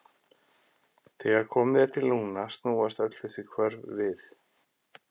Þegar komið er til lungna snúast öll þessi hvörf við.